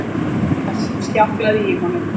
Við það sljákkaði í honum